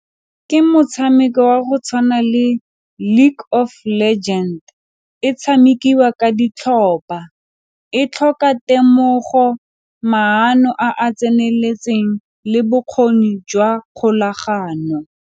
Ke motshameko wa go tshwana le League of Legend, e tshamekiwa ka ditlhopha, e tlhoka temogo maano a a tseneletseng le bokgoni jwa kgolagano.